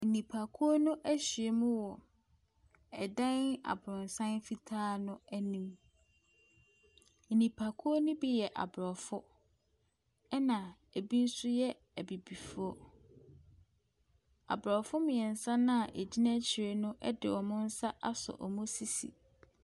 Nnipakuo no ahyiam wɔ dan abrɔsan fitaa no anim. Nnipakuo no bi yɛ Aborɔfo. Ɛna ebi nso yɛ Abibifo. Abrɔfo mmiɛnsa no a egyina akyire no de wɔn nsa asɔ wɔn sisi.